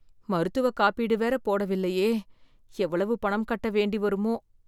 மருத்துவ காப்பீடு வேற போடவில்லையே! எவ்வளவு பணம் கட்ட வேண்டி வருமோ!